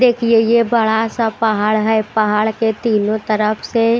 देखिए ये बड़ा सा पहाड़ है पहाड़ के तीनों तरफ से--